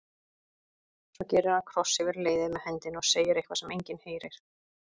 Svo gerir hann kross yfir leiðið með hendinni og segir eitthvað sem enginn heyrir.